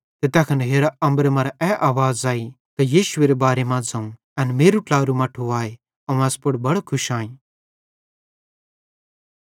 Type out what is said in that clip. ते तैखन हेरा अम्बरे मरां ए आवाज़ आई त यीशुएरे बारे मां ज़ोवं एन मेरू ट्लारू मट्ठू अवं एस पुड़ बड़ो खुश आईं